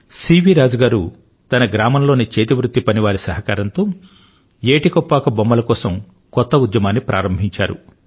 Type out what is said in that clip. CV Raju తన గ్రామంలోని చేతివృత్తి పనివారి సహకారంతో ఏటి కొప్పాక బొమ్మల కోసం కొత్త ఉద్యమాన్ని ప్రారంభించాడు